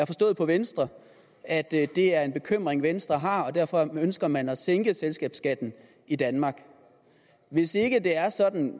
forstået på venstre at det er en bekymring venstre har og derfor ønsker man at sænke selskabsskatten i danmark hvis ikke det er sådan